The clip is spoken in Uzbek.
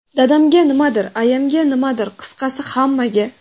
Dadamga nimadir, ayamga nimadir, qisqasi hammaga.